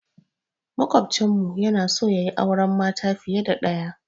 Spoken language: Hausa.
Maƙwafcin mu yana so yayi auren mata fiye da ɗaya.